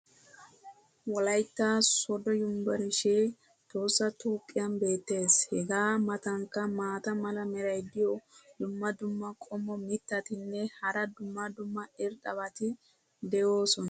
wolaytta soodo yunburshshee tohossa toophphiyan beetees. hegaa matankka maata mala meray diyo dumma dumma qommo mitattinne hara dumma dumma irxxabati de'oosona.